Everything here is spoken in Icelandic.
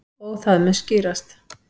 Og það mun skýrast.